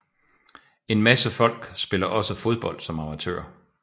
En masse folk spiller også fodbold som amatører